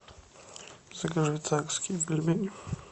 закажи царские пельмени